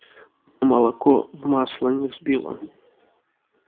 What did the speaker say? молоко в масло не сбила